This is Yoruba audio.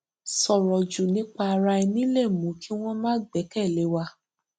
sọrọ jù nípa ara ẹni lè mú ki wọn má gbẹkẹlé wa